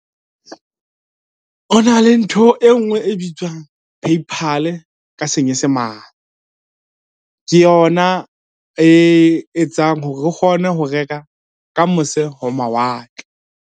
O na le ntho e ngwe e bitswang Paypal ka Senyesemane. Ke yona e etsang hore re kgone ho reka ka mose ho mawatle.